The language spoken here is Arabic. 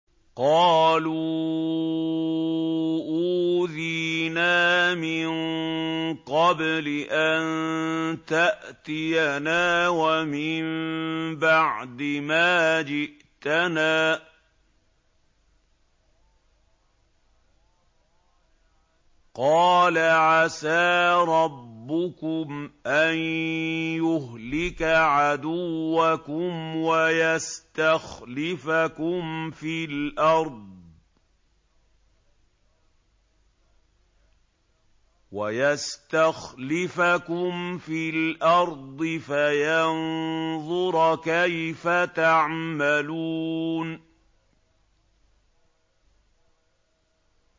قَالُوا أُوذِينَا مِن قَبْلِ أَن تَأْتِيَنَا وَمِن بَعْدِ مَا جِئْتَنَا ۚ قَالَ عَسَىٰ رَبُّكُمْ أَن يُهْلِكَ عَدُوَّكُمْ وَيَسْتَخْلِفَكُمْ فِي الْأَرْضِ فَيَنظُرَ كَيْفَ تَعْمَلُونَ